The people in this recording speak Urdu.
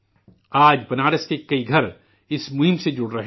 آج بنارس کے کئی گھر اس مہم سے جڑ رہے ہیں